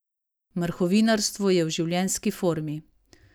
Mrhovinarstvo je v življenjski formi.